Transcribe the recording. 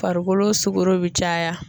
Farikolo sugoro be caya